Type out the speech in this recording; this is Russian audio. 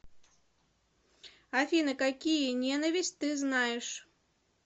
афина какие ненависть ты знаешь